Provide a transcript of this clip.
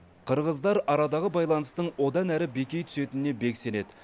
қырғыздар арадағы байланыстың одан әрі беки түсетініне бек сенеді